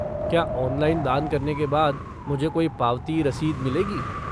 क्या ऑनलाइन दान करने के बाद मुझे कोई पावती रसीद मिलेगी?